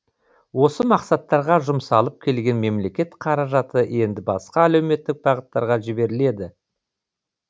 осы мақсаттарға жұмсалып келген мемлекет қаражаты енді басқа әлеуметтік бағыттарға жіберіледі